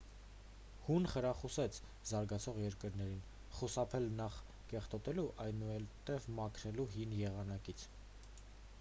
հուն խրախուսեց զարգացող երկրներին խուսափել նախ կեղտոտելու այնուհետև մաքրելու հին եղանակից